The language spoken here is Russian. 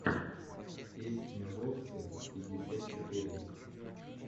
песня воксы пятьдесят четыре